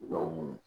Dɔnku